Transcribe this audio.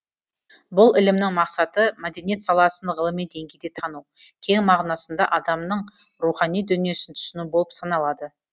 бұл ілімнің мақсаты мәдениет саласын ғылыми деңгейде тану кең мағынасында адамның рухани дүниесін түсіну болып саналады